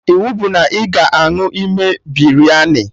Iwu bụ na ị ga-aṅụ ime Biryani